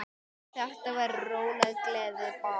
Þetta verður róleg gleði bara.